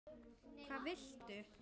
Hvað viltu?